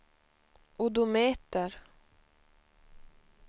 odometer